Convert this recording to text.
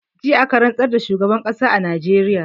Jiya aka rantsar da shugaban ƙasar najeriya